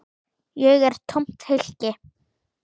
Ég er tómt hylki.